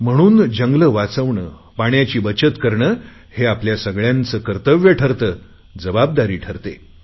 म्हणून जंगले वाचवणे पाण्याची बचत करणे हे आपल्या सगळयांचे कर्तव्य ठरते जबाबदारी ठरते